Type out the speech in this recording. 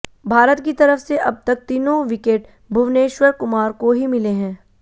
भारत की तरफ से अब तक तीनों विकेट भुवनेश्वर कुमार को ही मिले हैं